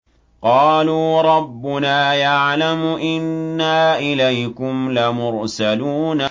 قَالُوا رَبُّنَا يَعْلَمُ إِنَّا إِلَيْكُمْ لَمُرْسَلُونَ